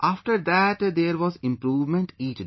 After that, there was improvement each day